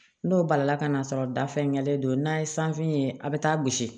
N'o balila ka n'a sɔrɔ dafeŋɛlen don n'a ye sanfɛ ye a bɛ taa gosi